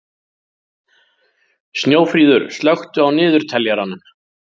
Snjófríður, slökktu á niðurteljaranum.